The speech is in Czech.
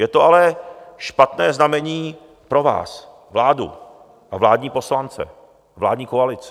Je to ale špatné znamení pro vás, vládu a vládní poslance, vládní koalici.